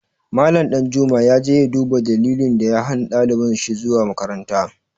Mallam Ɗanjuma ya je ya duba dalilin da ya hana ɗalibin shi zuwa makaranta.